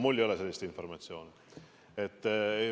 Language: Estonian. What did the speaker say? Mul ei ole sellist informatsiooni.